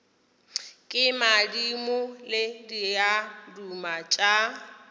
ke madimo le diaduma tša